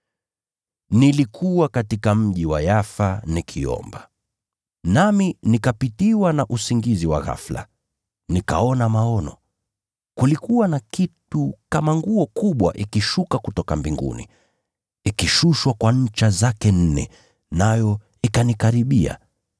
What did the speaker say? “Nilikuwa katika mji wa Yafa nikiomba, nami nikapitiwa na usingizi wa ghafula, nikaona maono. Kulikuwa na kitu kama nguo kubwa ikishuka kutoka mbinguni, ikishushwa kwa ncha zake nne, nayo ikanikaribia.